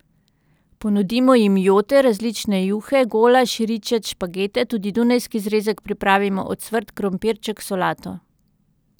Ponudimo jim jote, različne juhe, golaž, ričet, špagete, tudi dunajski zrezek pripravimo, ocvrt krompirček, solato.